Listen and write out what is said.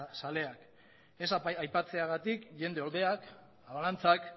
zaleak ez aipatzeagatik jende oldeak abalantxak